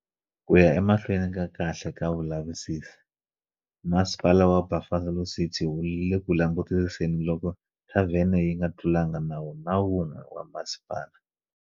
Ku ya emahlweni ka kahle ka vulavisisi, Masipala wa Buffalo City wu le ku langutisiseni loko thavhene yi nga tlulanga nawu na wun'we wa masipala.